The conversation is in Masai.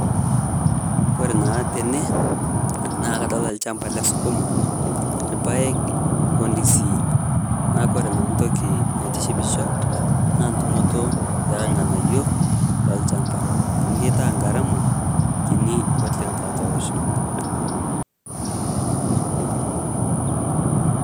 Kore naa tene naa kadolita lchamba le sukuma, Ilpaek o ndisii. Naaku kore naa ntokii naitishipisho naa ntumoto e lng'anaiyo lo lchaamba amu keeta garama kiinyi oleng' te atua loosho.